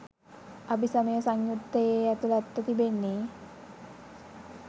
අභිසමය සංයුත්තයේ ඇතුළත්ව තිබෙන්නේ